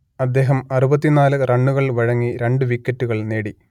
അദ്ദേഹം അറുപത്തി നാല് റണ്ണുകൾ വഴങ്ങി രണ്ട് വിക്കറ്റുകൾ നേടി